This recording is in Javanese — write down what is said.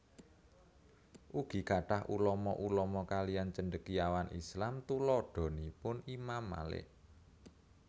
Ugi kathah ulama ulama kaliyan Cendekiawan Islam tuladhanipun Imam Malik